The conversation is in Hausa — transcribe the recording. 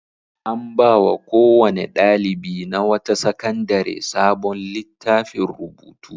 An ba wa kowane ɗalibi na wata sakandare sabon littafin rubutu.